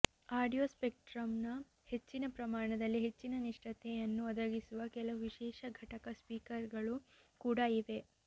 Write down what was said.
audio ಸ್ಪೆಕ್ಟ್ರಮ್ನ ಹೆಚ್ಚಿನ ಪ್ರಮಾಣದಲ್ಲಿ ಹೆಚ್ಚಿನ ನಿಷ್ಠತೆಯನ್ನು ಒದಗಿಸುವ ಕೆಲವು ವಿಶೇಷ ಘಟಕ ಸ್ಪೀಕರ್ಗಳು ಕೂಡಾ ಇವೆ